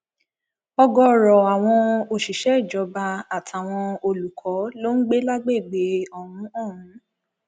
ọgọọrọ àwọn òṣìṣẹ ìjọba àtàwọn olùkọ ló ń gbé lágbègbè ọhún ọhún